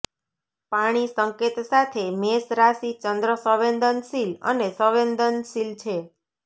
પાણી સંકેત સાથે મેષ રાશિ ચંદ્ર સંવેદનશીલ અને સંવેદનશીલ છે